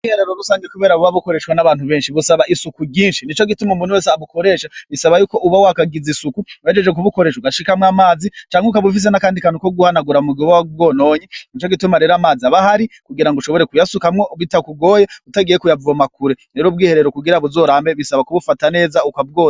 Ubwiherero rusangi kubera buba bukoreshwa nabantu benshi busaba isuku ryinshi nico gituma umuntu wese abukoresha bisaba yuko uba wahagize isuku uhejeje kubukoresha ugaca ushiramwo amazi canke ukaba ufise n'akandi kantu ko guhanagura mu gihe wobubwononye nico gituma rero amazi aba ahari kugirango ushobore kuyasukamwo bitakugoye utagiye kuyavoma kure rero ubwiherero kugira buzorambe bisaba kubufata neza ukabwoza.